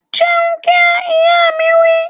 Jẹun kíá! Ìyá mi wí